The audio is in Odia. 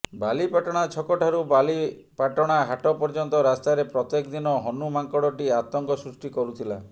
ବାଲିପାଟଣା ଛକଠାରୁ ବାଲିପାଟଣା ହାଟ ପର୍ଯ୍ୟନ୍ତ ରାସ୍ତାରେ ପ୍ରତ୍ୟେକ ଦିନ ହନୁ ମାଙ୍କଡଟି ଆତଙ୍କ ସୃଷ୍ଟି କରୁଥିଲା